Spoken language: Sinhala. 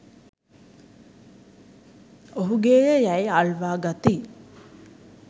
ඔහුගේ ය යැයි අල්වා ගති